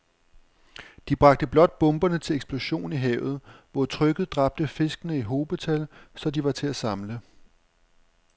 De bragte blot bomberne til eksplosion i havet, hvor trykket dræbte fiskene i hobetal, så de var til at samle